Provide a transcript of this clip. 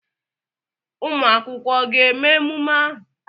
Ụmụ akwụkwọ ga-eme emume ahụ?